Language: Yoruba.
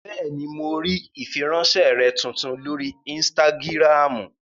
Bẹ́ẹ̀ni, mo rí ìfiránsẹ́ rẹ tuntun lórí ínstágíráàmù